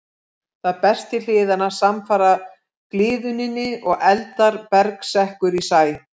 Það berst til hliðanna samfara gliðnuninni og eldra berg sekkur í sæ.